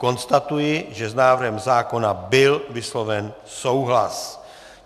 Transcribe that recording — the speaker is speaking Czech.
Konstatuji, že s návrhem zákona byl vysloven souhlas.